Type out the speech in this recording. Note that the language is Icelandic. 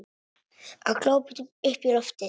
Að glápa upp í loftið.